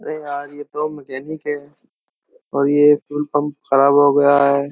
ये तो मैकेनिक है और यह फ्यूल पंप खराब हो गया है।